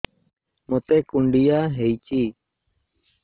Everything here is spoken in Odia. ମୋତେ କୁଣ୍ଡିଆ ହେଇଚି